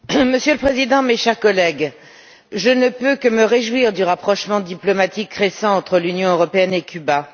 Monsieur le Président, mes chers collègues, je ne peux que me réjouir du rapprochement diplomatique récent entre l'Union européenne et Cuba.